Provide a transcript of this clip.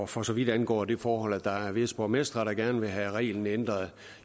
for så vidt angår det forhold at der er visse borgmestre der gerne vil have reglen ændret